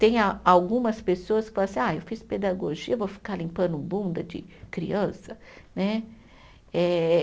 Tem a algumas pessoas que falam assim, ah, eu fiz pedagogia, vou ficar limpando bunda de criança? Né, eh